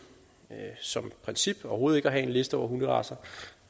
som et princip og overhovedet ikke at have en liste over hunderacer